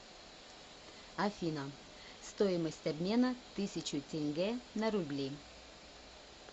афина стоимость обмена тысячу тенге на рубли